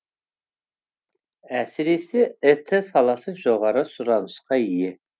әсіресе іт саласы жоғары сұранысқа ие